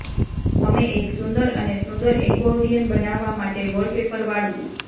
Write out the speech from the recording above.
અમે એક સુંદર અને સુંદર એકોર્ડિયન બનાવવા માટે વોલપેપર વાળવું